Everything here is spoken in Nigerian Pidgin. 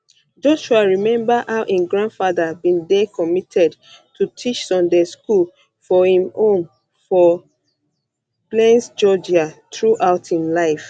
joshua remember how im grandfather bin dey committed to teach sunday school for im home for for plains georgia throughout im life